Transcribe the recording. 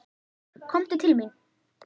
Komdu til mín.